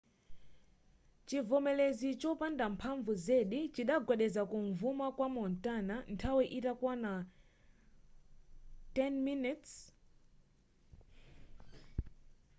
chivomerezi chopanda mphamvu zedi chidagwedeza kuvuma kwa montana nthawi itakwana 10:08 usiku lolemba